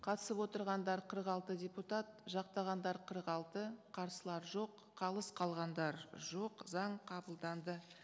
қатысып отырғандар қырық алты депутат жақтағандар қырық алты қарсылар жоқ қалыс қалғандар жоқ заң қабылданды